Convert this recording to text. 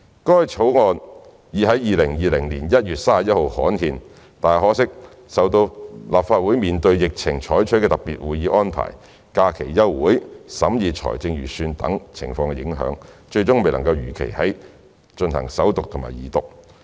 該法案已在2020年1月31日刊憲，但受到立法會面對疫情採取的特別會議安排、假期休會、審議財政預算等情況影響，最終未能如期進行首讀及二讀。